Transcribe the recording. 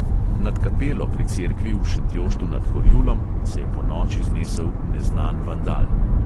Nad kapelo pri cerkvi v šentjoštu nad horjulom se je ponoči znesel neznan vandal.